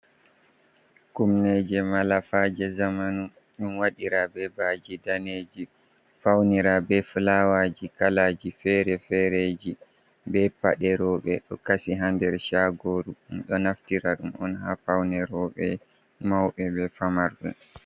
Kumneje, malafaje, zamanu ɗon waɗira bebaji daneji faunira be flawaji kalaji fere-fereji, be paɗe rouɓe, do kasi ha der shagoru. Ɗum do naftira dum on ha faunerouɓe mauɓe be famarɓe.